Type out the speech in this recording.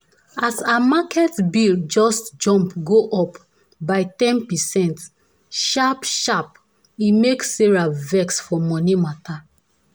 as her market bill just jump go up by ten percent sharp-sharp e make sarah vex for money matter.